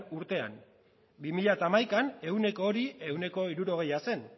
urtean bi mila hamaikaan eguneko hori ehuneko hirurogeia zen